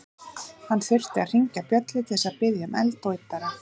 Hann þurfti að hringja bjöllu til að biðja um eld og yddara.